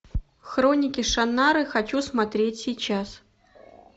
хроники шаннары хочу смотреть сейчас